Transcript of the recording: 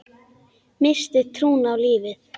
Missti trúna á lífið.